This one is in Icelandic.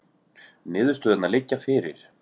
Niðurstöðurnar liggja fyrir